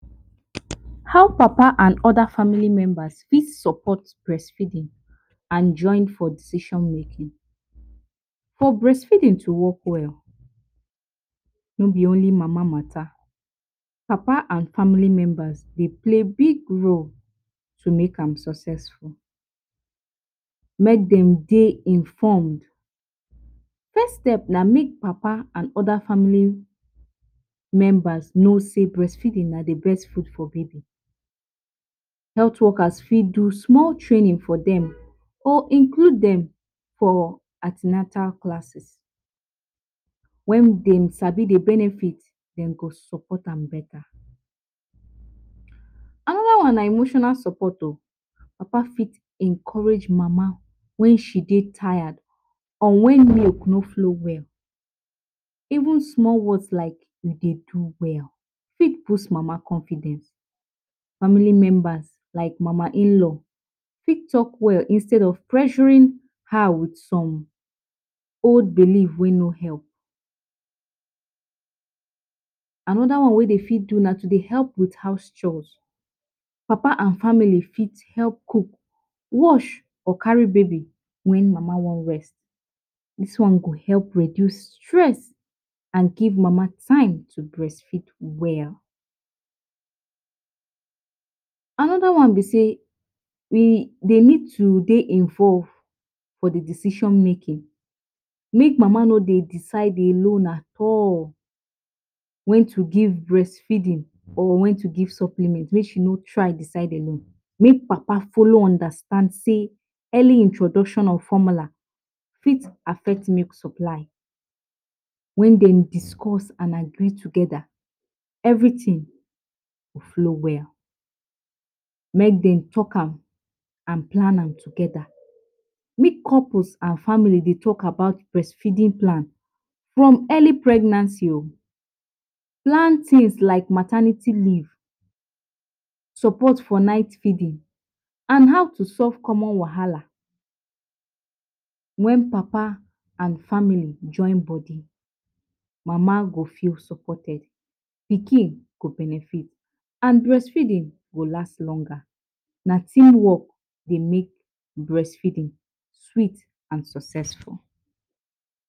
How papa and oda family members fit support breastfeeding and join for decision making, for breast feeding to work well no b only mama mata papa and family members Dey play big role to make an successful, make dem Dey informed, first step na make papa and oda family members no sey breastfeeding na d best food for baby, health workers for do small training for dem or include dem for an ten atal classes, wen dem sabi d benefits dem go support am beta, anoda one na emotional support o papa fit encourage mama wen she dey tired or wen milk no flow well even small words like u dey do well fit boost mama confidence, family members like mama in-law fit talk well instead of pressuring her with some old belief wey no help, anoda one wey dem fit do na to Dey help wit house chores, papa and family for help cook, wash or carry baby wen mama wan rest dis one go help reduce stress and give mama time to breastfeed well. Anoda one b say dem need to Dey involved for d decision making, make mama no Dey decide alone at all wen to give breastfeeding or wen to give supplement make she no try decide alone make papa follow am understand say early introduction of formula for affect milk supply, wen dem discuss and agree togeda everything go flow well make dem talk am and plan am togeda, make couples and family Dey talk about breast feeding plan from early pregnancy o plan things like maternity leave o, support for night feeding and how to solve common wahala, wen papa and family join body mama go feel supported pikin go benefit and breastfeeding go last longer na team work Dey make breast feeding sweet and successful.